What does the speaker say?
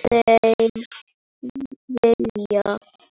þeir vilja.